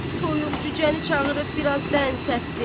Toyuq-cücəni çağırıb biraz dən səpdi.